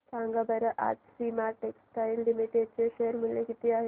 सांगा बरं आज सोमा टेक्सटाइल लिमिटेड चे शेअर चे मूल्य किती आहे